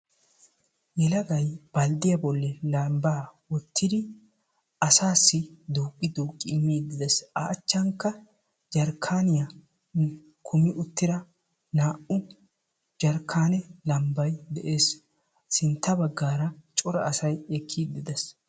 Yelagay balddiyaa bolli lambba wottidi asassi duqqi duqqi immide des; a achchankka jarkkaniyaa kummi uttida naa"u jarkkane lambbay de'ees; sintta baggara cora asay ekkiide des.